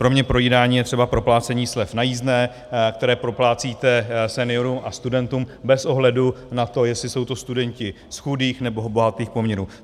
Pro mě projídání je třeba proplácení slev na jízdném, které proplácíte seniorům a studentům bez ohledu na to, jestli jsou to studenti z chudých, nebo bohatých poměrů.